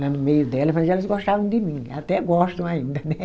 lá no meio delas, mas elas gostavam de mim, até gostam ainda, né?